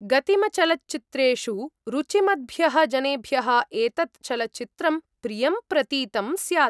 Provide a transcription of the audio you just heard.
गतिमच्चलच्चित्रेषु रुचिमद्भ्यः जनेभ्यः एतत् चलच्चित्रं प्रियं प्रतीतं स्यात्।